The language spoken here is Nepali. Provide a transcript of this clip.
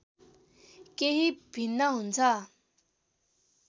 केही भिन्न हुन्छ